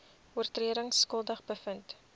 oortredings skuldig bevind